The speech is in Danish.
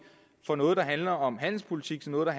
fra noget der handler om handelspolitik til noget der